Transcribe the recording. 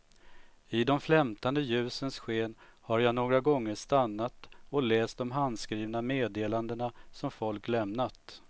I de flämtande ljusens sken har jag några gånger stannat och läst de handskrivna meddelandena som folk lämnat.